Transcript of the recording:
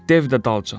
Dev də dalcan.